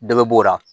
Dɔ bɛ b'o la